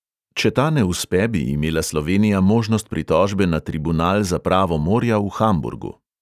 Če ta ne uspe, bi imela slovenija možnost pritožbe na tribunal za pravo morja v hamburgu.